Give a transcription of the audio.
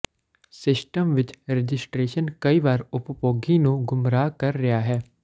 system ਵਿੱਚ registration ਕਈ ਵਾਰ ਉਪਭੋਗੀ ਨੂੰ ਗੁੰਮਰਾਹ ਕਰ ਰਿਹਾ ਹੈ